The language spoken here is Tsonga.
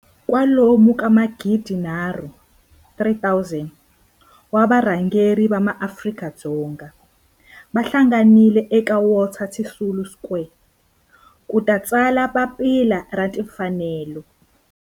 kwalomu ka magidi nharhu, 3 000, wa varhangeri va maAfrika-Dzonga va hlanganile eka Walter Sisulu Square ku ta tsala Papila ra Tinfanelo.